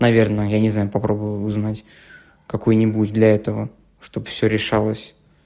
наверное я не знаю попробую узнать какой-нибудь для этого чтоб всё решалось